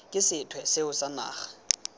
ke sethwe seo sa naga